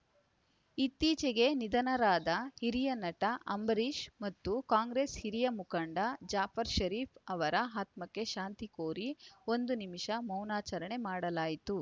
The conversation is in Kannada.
ಇತ್ತೀಚೆಗೆ ನಿಧನರಾದ ಹಿರಿಯ ನಟ ಅಂಬರೀಷ್‌ ಮತ್ತು ಕಾಂಗ್ರೇಸ್‌ ಹಿರಿಯ ಮುಖಂಡ ಜಾಫರ್‌ ಷರೀಫ್‌ ಅವರ ಆತ್ಮಕ್ಕೆ ಶಾಂತಿ ಕೋರಿ ಒಂದು ನಿಮಿಷ ಮೌನಾಚರಣೆ ಮಾಡಲಾಯಿತು